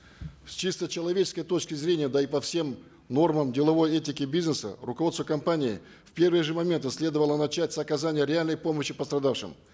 с чисто человеческой точки зрения да и по всем нормам деловой этики бизнеса руководству компании в первые же моменты следовало начать с оказания реальной помощи пострадавшим